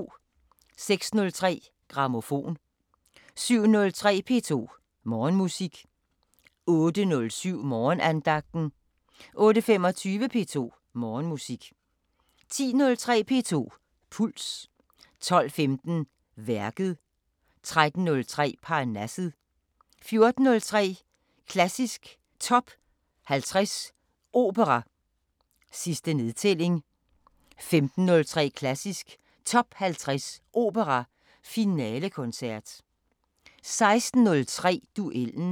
06:03: Grammofon 07:03: P2 Morgenmusik 08:07: Morgenandagten 08:25: P2 Morgenmusik 10:03: P2 Puls 12:15: Værket 13:03: Parnasset 14:03: Klassisk Top 50 Opera: Sidste nedtælling 15:03: Klassisk Top 50 Opera: Finalekoncert 16:03: Duellen